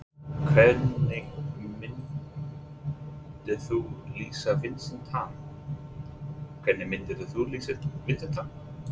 Hvernig myndir þú lýsa Vincent Tan?